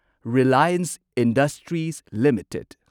Reliance Industries limited